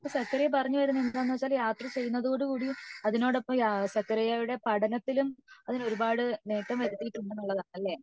അപ്പോ സത്യദേവ് പറഞ്ഞ വരുന്നത് എന്താണ് വച്ച യാത്ര ചെയ്യുന്നതോട് കൂടി അതിനോടൊപ്പം യാത്രയുടെ പഠനത്തിലും അതിന് ഒരുപാട് നേട്ടങ്ങൾ വരുത്തിയിട്ടുണ്ടെന്ന് ആണല്ലേ